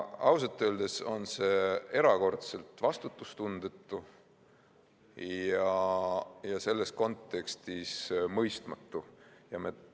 Ausalt öeldes on see erakordselt vastutustundetu ja selles kontekstis mõistetamatu.